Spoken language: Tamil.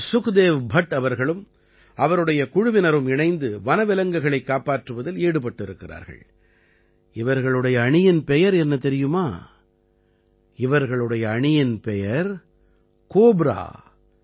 இங்கே சுக்தேவ் பட் அவர்களும் அவருடைய குழுவினரும் இணைந்து வன விலங்குகளைக் காப்பாற்றுவதில் ஈடுபட்டிருக்கிறார்கள் இவர்களுடைய அணியின் பெயர் என்ன தெரியுமா இவர்களுடைய அணியின் பெயர் கோப்ரா